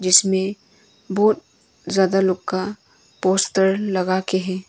इसमें बहुत ज्यादा लोग का पोस्टर लगा के है।